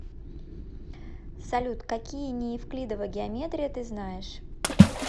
салют какие неевклидова геометрия ты знаешь